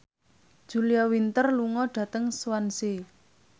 Julia Winter lunga dhateng Swansea